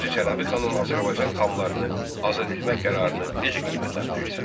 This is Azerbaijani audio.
Hacı Çələbi xanın Azərbaycan xanlarını azad etmək qərarını necə qiymətləndirirsən?